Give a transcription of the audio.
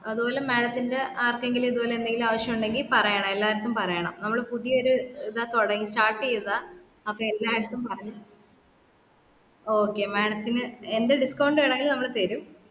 അതുപോലെ madam ത്തിന്റെ ആർകെങ്കിലും ഇത്‌പോലെ എന്തെങ്കിലും ആവിശുണ്ടെങ്കി പറയണം എല്ലാർത്തും പറയണം നമ്മള് പുതിയ ഒരു ഇതാ തൊടങ് start എയ്തതാ അപ്പൊ എല്ലാർത്തും പറഞ്ഞോ okay madam ത്തിനു എന്ത് discount വീണെങ്കിലും നമ്മൾ tharum